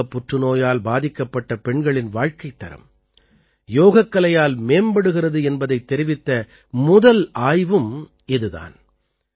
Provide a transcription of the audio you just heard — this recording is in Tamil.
மார்ப்பகப் புற்றுநோயால் பாதிக்கப்பட்ட பெண்களின் வாழ்கைத்தரம் யோகக்கலையால் மேம்படுகிறது என்பதைத் தெரிவித்த முதல் ஆய்வும் இது தான்